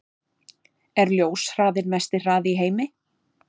Er ljóshraðinn mesti hraði í heimi?